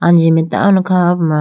anji mai tando kha ho puma.